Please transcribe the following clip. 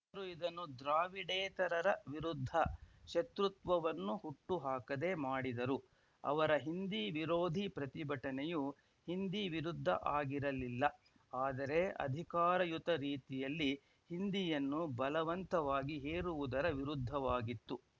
ಅವರು ಇದನ್ನು ದ್ರಾವಿಡೇತರರ ವಿರುದ್ಧ ಶತ್ರುತ್ವವನ್ನು ಹುಟ್ಟುಹಾಕದೆ ಮಾಡಿದರು ಅವರ ಹಿಂದಿ ವಿರೋಧಿ ಪ್ರತಿಭಟನೆಯು ಹಿಂದಿ ವಿರುದ್ಧ ಆಗಿರಲಿಲ್ಲ ಆದರೆ ಅಧಿಕಾರಯುತ ರೀತಿಯಲ್ಲಿ ಹಿಂದಿಯನ್ನು ಬಲವಂತವಾಗಿ ಹೇರುವುದರ ವಿರುದ್ಧವಾಗಿತ್ತು